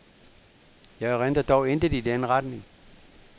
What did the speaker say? Jeg erindrer dog intet i den retning.